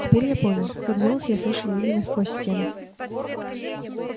теперь я понял тот голос я слышал именно сквозь стену